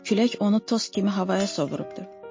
Külək onu toz kimi havaya sovurubdur.